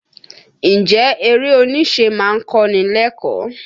Ǹjẹ́ eré oníṣe má ń kọ́ ni lẹ́kọ̀ọ́?